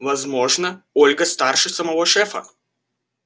возможно ольга старше самого шефа